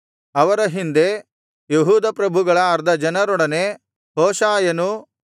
ಅವರ ಹಿಂದೆ ಯೆಹೂದ ಪ್ರಭುಗಳ ಅರ್ಧ ಜನರೊಡನೆ ಹೋಷಾಯನೂ